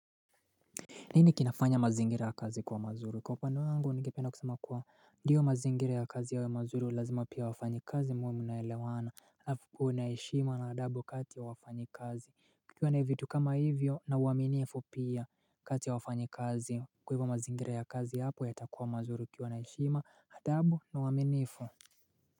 Nini kinafanya mazingira ya kazi kuwa mazuri? Kwa upande wangu ningependa kusema kuwa Ndiyo mazingira ya kazi yawe ya mazuri lazima pia wafanyikazi muwe munaelewana alafu kuna heshima na adabu kati ya wafanyikazi Kikuwa na vitu kama hivyo na uwaminifu pia kati ya wafanyi kazi Kwa hivyo mazingira ya kazi hapo yatakuwa mazuri kukiwa na heshima, adabu na uwaminifu.